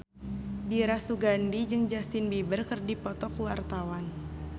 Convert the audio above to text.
Dira Sugandi jeung Justin Beiber keur dipoto ku wartawan